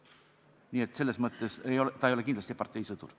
Nii et selles mõttes ei ole ta kindlasti parteisõdur.